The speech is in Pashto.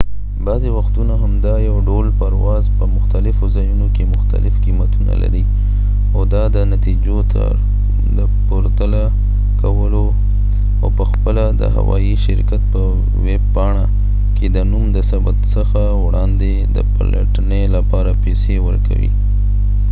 بعضې وختونه همدا یو ډول پرواز په مختلفو ځایونو کې مختلف قیمتونه لري او دا د نتیجو د پرتله کولو او په خپله د هوایي شرکت په ویبپاڼه کې د نوم د ثبت څخه وړاندې د پلټنې لپاره پیسې ورکوي